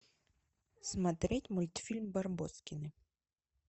смотреть мультфильм барбоскины